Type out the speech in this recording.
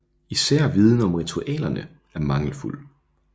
Især viden om ritualerne er mangelfuld